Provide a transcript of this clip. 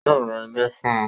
Yóò ra ilẹ̀ fún un